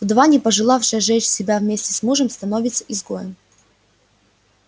вдова не пожелавшая сжечь себя вместе с мужем становится изгоем